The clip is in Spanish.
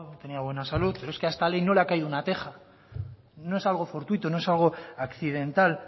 tenía buena salud pero es que a esta ley no le ha caído una teja no es algo fortuito no es algo accidental